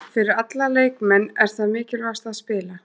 Fyrir alla leikmenn er það mikilvægasta að spila